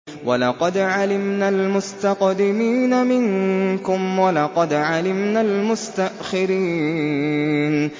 وَلَقَدْ عَلِمْنَا الْمُسْتَقْدِمِينَ مِنكُمْ وَلَقَدْ عَلِمْنَا الْمُسْتَأْخِرِينَ